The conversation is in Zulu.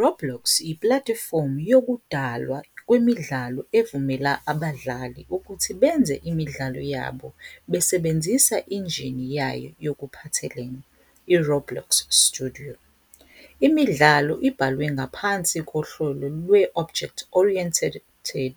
Roblox yiplatifomu yokudalwa kwemidlalo evumela abadlali ukuthi benze imidlalo yabo besebenzisa injini yayo yokuphathelene, iRoblox Studio. Imidlalo ibhalwe ngaphansi kohlelo lwe-Object-Oriented